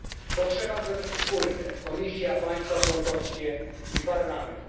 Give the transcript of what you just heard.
To trzeba zrobić wspólnie Komisja, państwa członkowskie i Parlament.